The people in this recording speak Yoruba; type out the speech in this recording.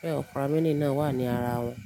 bé operamini náà wà ní ara wọn.